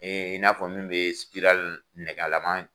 in n'a fɔ min bɛ nɛgɛ laman